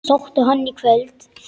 Sóttu hann í kvöld.